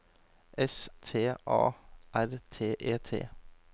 S T A R T E T